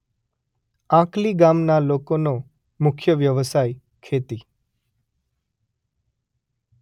આંકલી ગામના લોકોનો મુખ્ય વ્યવસાય ખેતી